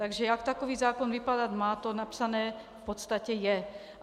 Takže jak takový zákon vypadat má, to napsané v podstatě je.